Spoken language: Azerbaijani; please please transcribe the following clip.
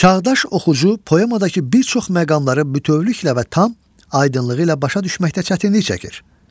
Çağdaş oxucu poemadakı bir çox məqamları bütövlükdə və tam aydınlığı ilə başa düşməkdə çətinlik çəkir.